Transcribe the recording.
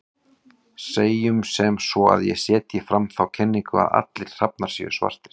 Segjum sem svo að ég setji fram þá kenningu að allir hrafnar séu svartir.